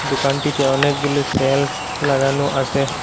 দুকানটিতে অনেকগুলি সেলফ লাগানো আছে।